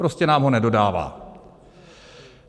Prostě nám ho nedodává.